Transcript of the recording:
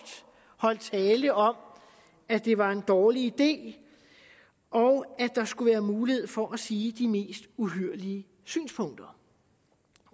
holdt tale om at det var en dårlig idé og at der skulle være mulighed for at sige de mest uhyrlige synspunkter